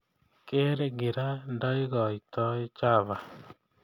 Keer gira ndaigoitoi chava